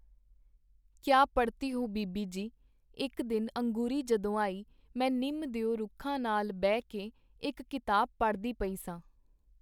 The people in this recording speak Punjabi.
ਕੀਆ ਪੜ੍ਹਤੀ ਹੋ ਬੀਬੀ ਜੀ !” ਇਕ ਦਿਨ ਅੰਗੂਰੀ ਜਦੋਂ ਆਈ ਮੈਂ ਨਿੰਮ ਦਿਓ ਰੁੱਖਾਂ ਨਾਲ ਬਹਿ ਕੇ ਇਕ ਕਿਤਾਬ ਪੜ੍ਹਦੀ ਪਈ ਸਾਂ.